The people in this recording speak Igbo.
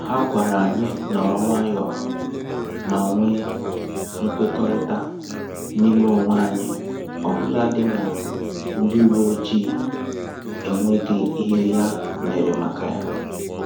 Ha gwara anyị nọrọ nwayọọ ma nwe mkwekọrịta n'ime onwe anyị ọbụladị ma ndị uwe ojii enweghị ihe ya mere maka ya